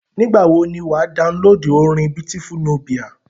Nígbà wọ ni wà á downloadu orin Beautiful Nubia.